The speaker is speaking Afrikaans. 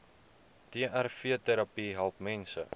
trvterapie help mense